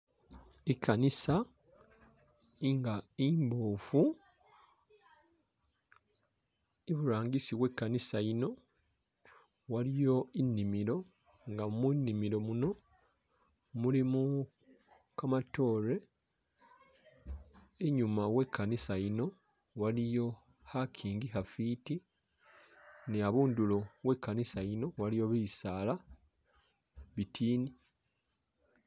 Ikanisa inga imbofu iburangisi wekanisa yino waliyo inimilo nga mulimilo muno mulimo kamatoore, inyuma wekanisa yino waliyo khakingi khafiti ni'abundulo wekanisa yino waliyo bisaala bitini